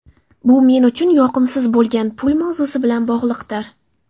Bu men uchun yoqimsiz bo‘lgan pul mavzusi bilan bog‘liqdir.